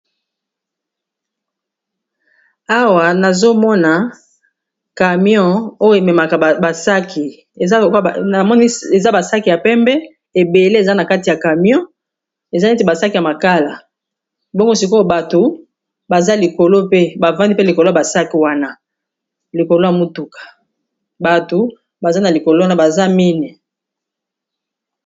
Awa nazomona camion oyo ememaka ba sac ya pembe ,ebele eza na kati ya camion eza neti ba sac ya makala bongo sikoyo bato baza likolo pe bafandi pe likolo ya ba sac wana likolo ya motuka, bato baza na likolo wana baza mine.